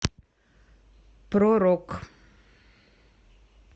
про рок